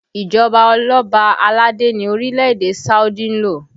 Ìjọba oloba aládé ni orílẹ̀ èdè Saudi ń lò